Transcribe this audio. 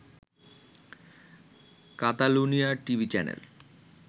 কাতালুনিয়ার TV channel